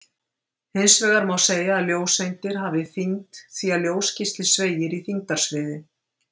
Hins vegar má segja að ljóseindir hafi þyngd því að ljósgeisli sveigir í þyngdarsviði.